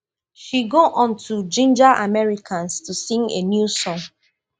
she go on to ginger americans to sing a new song